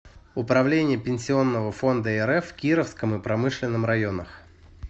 управление пенсионного фонда рф в кировском и промышленном районах